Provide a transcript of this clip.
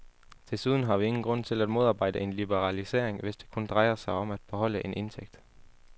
Desuden har vi ingen grund til at modarbejde en liberalisering, hvis det kun drejer sig om at beholde en indtægt.